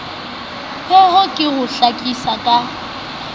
pheo ke ho hlakisa ka